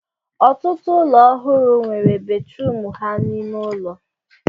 Ọtụtụ ụlọ ọhụrụ nwere batrum ha n'ime ụlọ